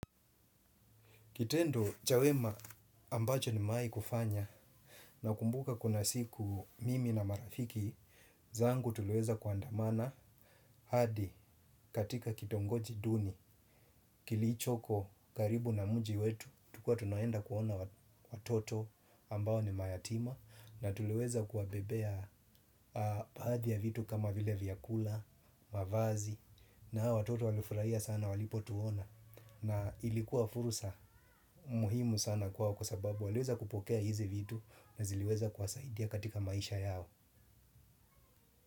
Kitendo cha wema ambacho nimewahi kufanya nakumbuka kuna siku mimi na marafiki zangu tuliweza kuandamana hadi katika kitongoji duni, kilichoko karibu na mji wetu, tulikuwa tunaenda kuona watoto ambao ni mayatima na tuliweza kuwabebea baadhi ya vitu kama vile vyakula, mavazi na hao watoto walifurahia sana walipotuona. Na ilikuwa fursa muhimu sana kwao kwa sababu waliweza kupokea hizi vitu na ziliweza kuwasadia katika maisha yao.